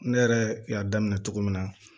Ne yɛrɛ y'a daminɛ cogo min na